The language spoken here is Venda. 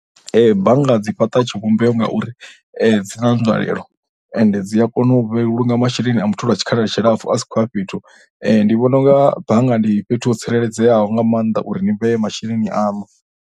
Bannga dzi fhaṱa tshivhumbeo ngauri dzi na nzwalelo ende dzi a kona u vhulunga masheleni a muthu lwa tshikhala tshilapfhu vha sa khou ya fhethu. Ndi vhona u nga bannga ndi fhethu ho tsireledzeaho nga maanḓa uri ni vhee masheleni aṋu.